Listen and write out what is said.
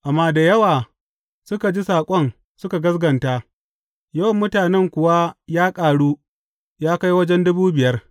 Amma da yawa da suka ji saƙon suka gaskata, yawan mutanen kuwa ya ƙaru ya kai wajen dubu biyar.